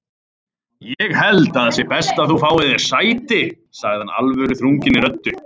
Ég held að það sé best að þú fáir þér sæti sagði hann alvöruþrunginni röddu.